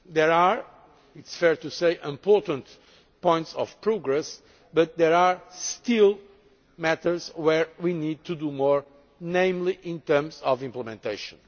There are, it is fair to say, important points of progress, but there are still matters where we need to do more, namely in terms of implementation.